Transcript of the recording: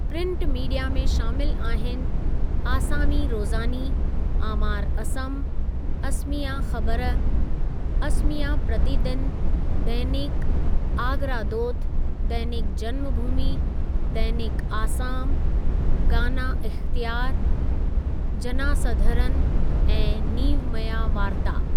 Print media में शामिलु आहिनि आसामी रोज़ानी, आमार असम, असमिया ख़बर, असमिया प्रतिदिन, दैनिक आगरादोत, दैनिक जनमु भूमी, दैनिक आसाम, गाना इख़्तियारु, जनासधरन ऐं नीवमया वारता।